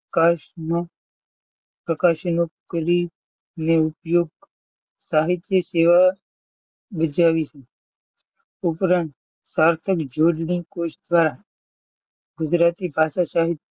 કસ નો આકાશ નો કરી ઉપયોગ કરી સાહીત્ય સેવા બજાવી છે ઉપરાંત સાર્થક જોડણી સોધતા ગુજરાતી ભાષા સાહિત્ય,